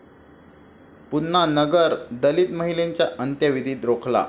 पुन्हा नगर, दलित महिलेचा अंत्यविधी रोखला!